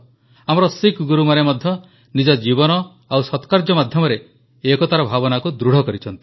ଆମର ଶିଖ୍ ଗୁରୁମାନେ ମଧ୍ୟ ନିଜ ଜୀବନ ଓ ସତ୍କାର୍ଯ୍ୟ ମାଧ୍ୟମରେ ଏକତାର ଭାବନାକୁ ଦୃଢ଼ କରିଛନ୍ତି